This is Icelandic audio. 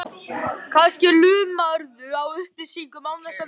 Kannski lumarðu á upplýsingum án þess að vita af því.